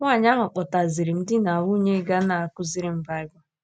Nwaanyị ahụ kpọtaziiri m di na nwunye ga na - akụziri m Baịbụl.